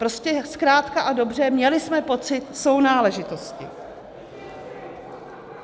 Prostě zkrátka a dobře, měli jsme pocit sounáležitosti.